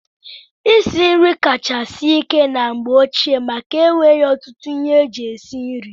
Isi nri kacha sie ike na mgbe ochie maka enweghị ọtụtụ ihe eji esi nri.